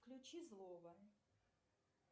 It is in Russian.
включи злого